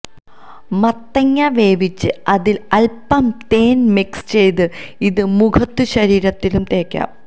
മത്തങ്ങ വേവിച്ച് അതില് അല്പം തേന് മിക്സ് ചെയ്ത് ഇത് മുഖത്തും ശരീരത്തിലും തേക്കാം